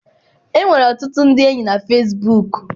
Enwere ọtụtụ ndị enyi na fesibuuku.